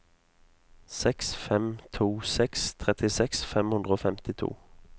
seks fem to seks trettiseks fem hundre og femtito